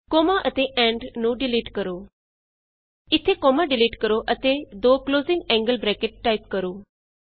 comma ਅਤੇ AMP ਨੂੰ delete ਕਰੋ ਇਥੇ ਕੋਮਾ ਡਿਲੀਟ ਕਰੋ ਅਤੇ ਦੋ ਕਲੋਜ਼ਿੰਗ ਐਂਗਲ ਬਰੈਕਟਸ ਟਾਈਪ ਕਰੋ